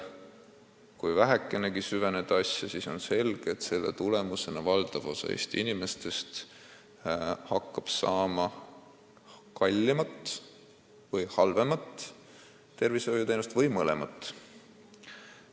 Kui vähekenegi asja süveneda, siis on selge, et selle tulemusena hakkaks valdav osa Eesti inimestest saama kallimat või halvemat tervishoiuteenust või mõlemat.